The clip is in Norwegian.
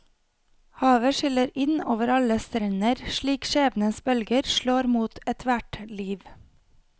Havet skyller inn over alle strender slik skjebnens bølger slår mot ethvert liv.